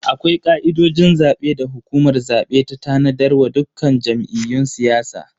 Akwai ka'idojin zabe da hukumar zabe ta tanadar wa dukkan jam'iyyun siyasa.